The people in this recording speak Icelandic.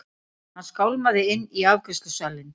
Hann skálmaði inn í afgreiðslusalinn.